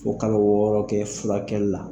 Fo kalo wɔɔrɔ kɛ fulakɛli la.